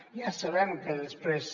ja sabem que després